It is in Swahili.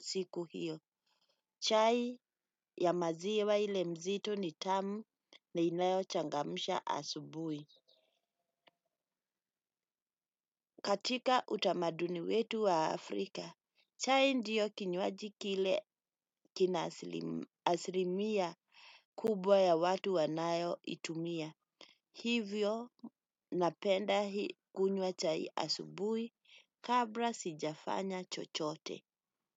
siku hiyo. Chai ya maziwa ile mzito ni tamu na inayochangamsha asubuhi. Katika utamaduni wetu wa Afrika, chai ndiyo kinywaji kile kina aslimia kubwa ya watu wanayoitumia. Hivyo napenda hii kunywa chai asubui kabra sijafanya chochote.